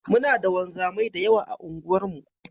Muna da wanzamai da yawa a unguwarmu.